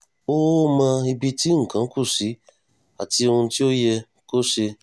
ó ó mọ ibi tí nǹkan kù sí àti ohun tí ò yẹ kó ṣe